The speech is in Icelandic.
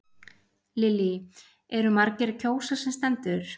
Lillý, eru margir að kjósa sem stendur?